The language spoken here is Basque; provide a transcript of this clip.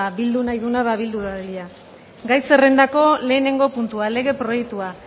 bildu nahi duenak ba bildu dadila gai zerrendako lehenengo puntua lege proiektua